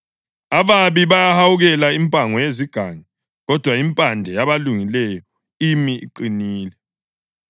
Ababi bahawukela impango yezigangi, kodwa impande yabalungileyo imi iqinile.